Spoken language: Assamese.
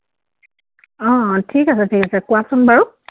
অ, অ। ঠিক আছে, ঠিক আছে। কোৱাচোন বাৰু।